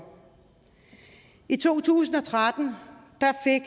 i to tusind og tretten